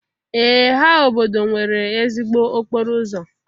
Ee ha obodo nwere ezigbo okporo ụzọ?